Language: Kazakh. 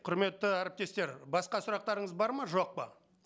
құрметті әріптестер басқа сұрақтарыңыз бар ма жоқ па